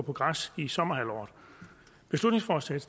på græs i sommerhalvåret beslutningsforslaget